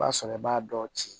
O b'a sɔrɔ i b'a dɔ ci